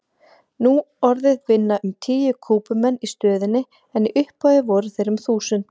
Nú orðið vinna um tíu Kúbumenn í stöðinni en í upphafi voru þeir um þúsund.